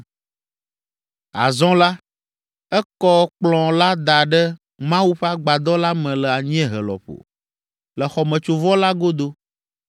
Azɔ la, ekɔ Kplɔ̃ la da ɖe Mawu ƒe agbadɔ la me le anyiehe lɔƒo, le xɔmetsovɔ la godo,